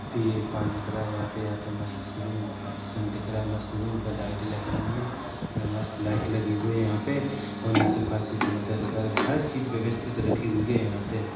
ये पान दिख रहा है यहाँ पे या तो मस्त रूम सन दिख रहा है मस्त रूम पर लाइट लगी हुई है मस्त लाइट लगी हुए है यहाँ पे और नीचे फर्श भी चमकता हुआ दिख रहा हर चीज व्यवस्थित रखी हुई है यहाँ पे --